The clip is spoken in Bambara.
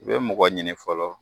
I bɛ mɔgɔ ɲini fɔlɔ.